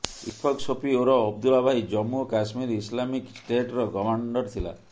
ଇଶଫକ ସୋଫି ଓରଫ ଅବଦ୍ଦୁଲ୍ଲା ଭାଇ ଜମ୍ମୁ ଓ କଶ୍ମୀର ଇସଲାମିକ ଷ୍ଟେଟର କମାଣ୍ଡର୍ ଥିଲା